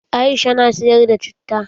Aisha na siyar da citta.